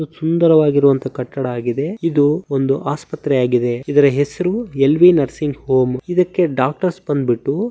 ಸುಂದರವಾಗಿರುವ ಕಟ್ಟಡವಾಗಿದೆ ಇದು ಒಂದು ಆಸ್ಪತ್ರೆಯಾಗಿದೆ ಇದರ ಹೆಸರು ಎಲ್ ವಿ ನರ್ಸಿಂಗ್ ಹೋಮ್ ಇದಕ್ಕೆ ಡಾಕ್ಟರ್ಸ್ ಬಂದ್ಬಿಟ್ಟು--